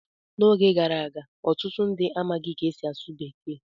N'oge gara aga, ọtụtụ ndị amaghị ka e si asụ Bekee.